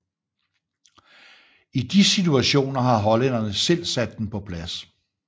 I de situationer har hollænderen selv sat den på plads